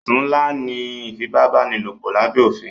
Ẹ̀sùn ńlá ní ìfipábánilòpọ̀ lábé òfin.